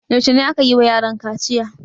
Yaushe ne aka yi wa yaran kaciya?